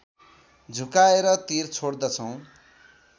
झुकाएर तीर छोड्दछौँ